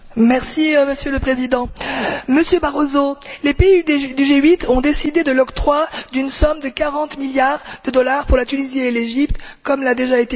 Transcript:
Monsieur le Président, Monsieur Barroso, les pays du G8 ont décidé de l'octroi d'une somme de quarante milliards de dollars pour la Tunisie et l'Égypte, comme il a déjà été dit.